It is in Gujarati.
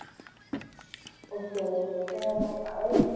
Okay okay external માં ફાવે છે?